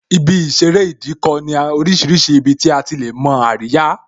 Ibi ìṣeré Ìdíkọ̀ ní orísìírísìí ibi tí a ti lè mo àríyá